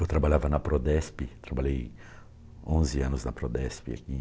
Eu trabalhava na Prodesp, trabalhei onze anos na Prodesp aqui